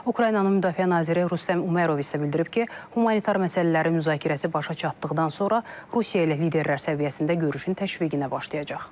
Ukraynanın Müdafiə naziri Rüstəm Umerov isə bildirib ki, humanitar məsələlərin müzakirəsi başa çatdıqdan sonra Rusiya ilə liderlər səviyyəsində görüşün təşviqinə başlayacaq.